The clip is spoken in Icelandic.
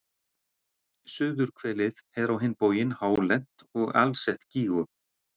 Suðurhvelið er á hinn bóginn hálent og alsett gígum.